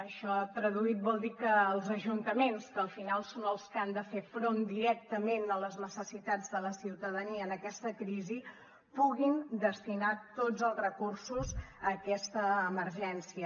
això traduït vol dir que els ajuntaments que al final són els que han de fer front directament a les necessitats de la ciutadania en aquesta crisi puguin destinar tots els recursos a aquesta emergència